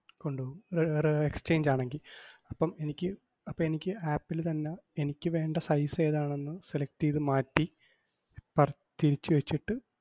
കൊണ്ടുപോവും റ്~ റ്~ exchange ആണെങ്കി. അപ്പം എനിക്ക് അപ്പെനിക്ക് app ല് തന്നെ എനിക്കുവേണ്ട size ഏതാണെന്ന് select എയ്ത് മാറ്റി പർ~ തിരിച്ചു വെച്ചിട്ട് കൊണ്ടുപോവും.